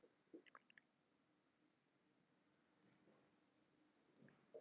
Hvert þeirra er yngst?